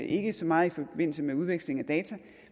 ikke så meget i forbindelse med udveksling af data